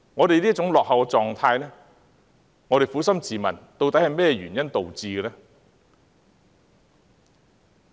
對於這種種落後狀態，我們撫心自問，究竟是甚麼原因導致？